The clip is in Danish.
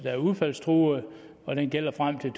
er udfaldstruede og den gælder frem til